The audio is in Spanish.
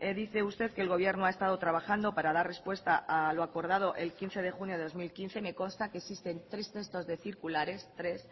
dice usted que el gobierno ha estado trabajando para dar respuesta a lo acordado el quince de junio de dos mil quince me consta que existen tres textos de circulares tres